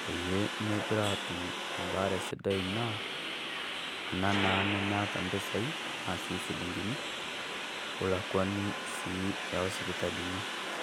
peyie megira atum ebaare sidai naa ana naa nemeeta mpisai tenaa sii silingini olakwanii sii e osipitalini.